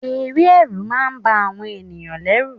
Eré Ẹ̀rù máa ń ba àwọn ẹ̀yàn lẹ́rù.